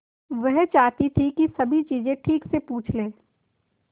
वह चाहती थी कि सभी चीजें ठीक से पूछ ले